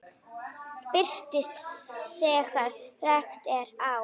Birtist þegar rakt er á.